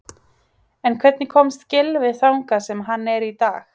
En hvernig komst Gylfi þangað sem hann er dag?